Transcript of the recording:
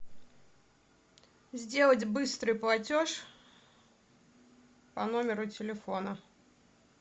сделать быстрый платеж по номеру телефона